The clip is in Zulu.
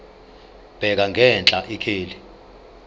bheka ngenhla ikheli